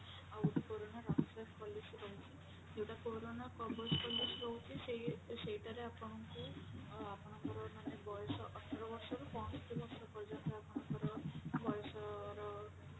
ଆଉ ଗୋଟେ corona Rakshak policy ଗୋଟେ ରହୁଛି ଯୋଉଟା କୋରୋନା କବଜ policy ରହୁଛି ସେଇ ସେଠଟାରେ ଆପଣଙ୍କୁ ଅ ଆପଣଙ୍କର ମାନେ ବୟସ ଅଠର ବର୍ଷରୁ ପଞ୍ଚଷଠି ବର୍ଷ ପର୍ଯ୍ୟନ୍ତ ଆପଣଙ୍କର ବୟସର